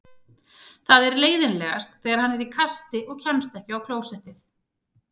Það er leiðinlegast þegar hann er í kasti og kemst ekki á klósettið.